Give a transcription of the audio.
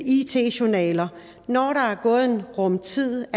it journaler når der er gået en rum tid